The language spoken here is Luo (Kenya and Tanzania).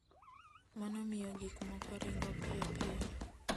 Mano miyo gik moko ringo piyo piyo.